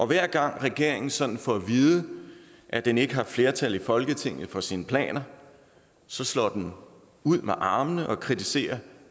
hver gang regeringen sådan får at vide at den ikke har flertal i folketinget for sine planer så slår den ud med armene og kritiserer